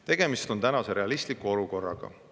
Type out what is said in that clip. Tegemist on tänase realistliku olukorraga.